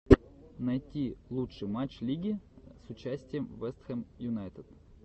найди лучший матч лиги с участием вест хэм юнайтед